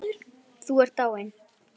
Þú segir engum.